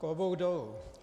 Klobouk dolů.